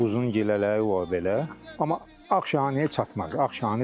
Quzun gilələri, yəni olar belə, amma ağ şanıya çatmaz.